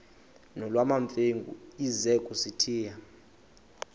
nolwamamfengu ize kusitiya